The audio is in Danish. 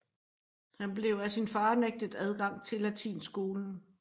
Han blev af sin far nægtet adgang til latinskolen